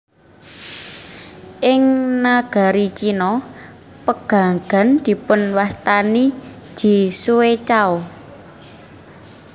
Ing nagari Cina pegagan dipunwastani ji xue cao